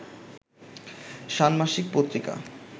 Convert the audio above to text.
ষান্মাসিক পত্রিকা